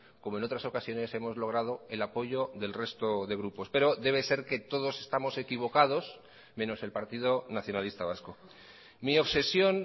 como en otras ocasiones hemos logrado el apoyo del resto de grupos pero debe ser que todos estamos equivocados menos el partido nacionalista vasco mi obsesión